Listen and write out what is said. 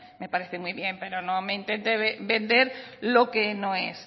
me parece muy bien pero no me intente vender lo que no es